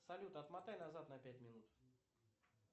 салют отматай назад на пять минут